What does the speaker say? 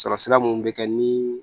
Sɔrɔ sira mun bɛ kɛ ni